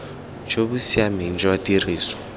jo bo siameng jwa tiriso